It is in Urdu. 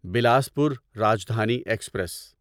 بلاسپور راجدھانی ایکسپریس